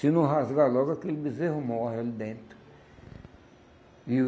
Se não rasgar logo, aquele bezerro morre ali dentro. E o